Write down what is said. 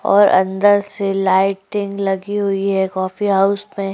और अंदर से लाइटिंग लगी हुई हैं कॉफ़ी हाउस में।